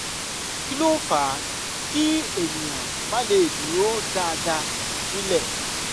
kí ló fà á kí ènìyàn má le dúró dáadáa nilẹ?